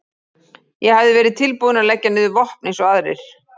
Ég hafði verið tilbúinn að leggja niður vopn eins og aðrir.